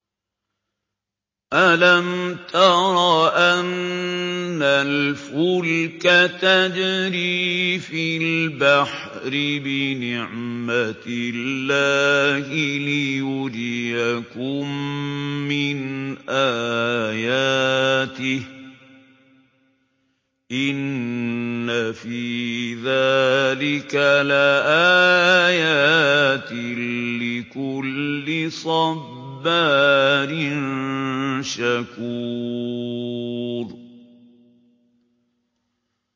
أَلَمْ تَرَ أَنَّ الْفُلْكَ تَجْرِي فِي الْبَحْرِ بِنِعْمَتِ اللَّهِ لِيُرِيَكُم مِّنْ آيَاتِهِ ۚ إِنَّ فِي ذَٰلِكَ لَآيَاتٍ لِّكُلِّ صَبَّارٍ شَكُورٍ